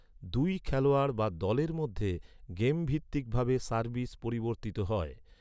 দুই খেলোয়াড় বা দলের মধ্যে গেমভিত্তিকভাবে সার্ভিস পরিবর্তিত হয়।